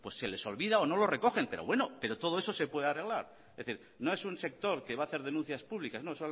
se les olvida o no lo recogen pero todo eso se puede arreglar es decir no es un sector que va a hacer denuncias públicas no